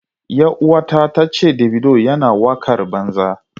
Yar uwata ta ce Davido yana wakar banza.